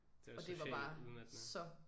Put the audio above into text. Det var socialt udmattende